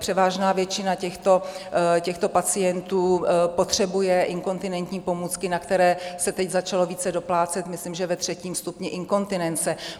Převážná většina těchto pacientů potřebuje inkontinentní (?) pomůcky, na které se teď začalo více doplácet, myslím že ve třetím stupni inkontinence.